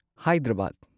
Hyderabad